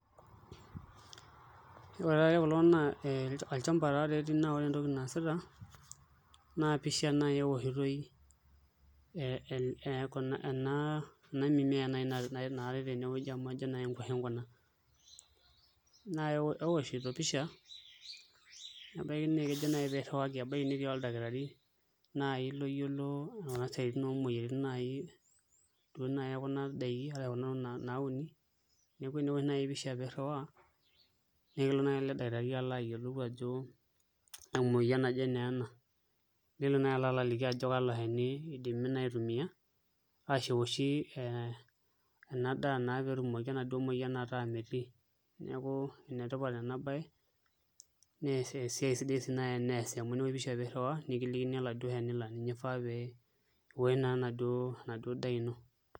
Ore taatoi kulo naa olchamba taatoi etii naa ore entoki naasita naa pisha taatoi ewoshitoi ena mimea naai naatai tenewueji amu ajo nai nkuashen kuna nai owoshito pisha nebaiki naa kejo naai pee irriwaki, ebaiki netii oldakitari naai loyiolo kuna siaitin oomoyiaritin duo naai ekuna daiki arashu kuna tokitin nauni neeku eneosh naai pisha pee irriwaa neyiolou ele dakitari aayiolou ajo kaa muoyian naa ena nekilo naai aliki ajoki kalo shani naa itumiai arashu enoshi ena daa naa pee etumoki enaduo muoyian ataa metii neeku enetipat ena baye naa esiai sidai naa naai teneesi amu eniosh pisha pee irriwaa naa kilikini ilo shani laa ninye ifaa pee iosh naaduo endaa ino.